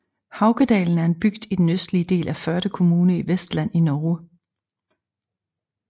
Haukedalen er en bygd i den østlige del af Førde kommune i Vestland i Norge